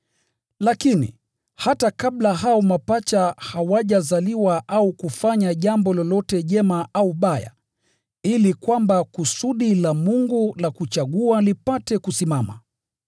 Lakini, hata kabla hao mapacha hawajazaliwa au kufanya jambo lolote jema au baya, ili kwamba kusudi la Mungu la kuchagua lipate kusimama,